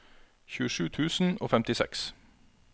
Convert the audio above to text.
tjuesju tusen og femtiseks